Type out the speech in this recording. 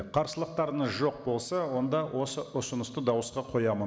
қарсылықтарыңыз жоқ болса онда осы ұсынысты дауысқа қоямын